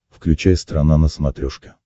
включай страна на смотрешке